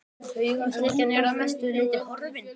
Taugaslekjan er að mestu leyti horfin.